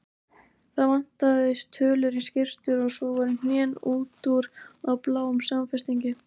Það vantaði tölur í skyrtur og svo voru hnén út úr á bláum samfestingi.